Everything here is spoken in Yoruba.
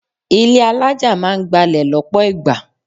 Ilé alájà máa ń gbalẹ̀ lọ́pọ̀ ìgbà.